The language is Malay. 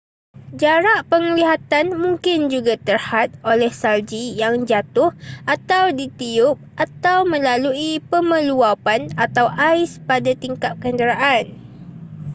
jarak penglihatan mungkin juga terhad oleh salji yang jatuh atau ditiup atau melalui pemeluwapan atau ais pada tingkap kenderaan